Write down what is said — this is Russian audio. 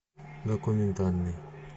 документальный